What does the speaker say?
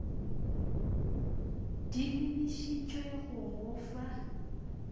di lebišitšwe go go fa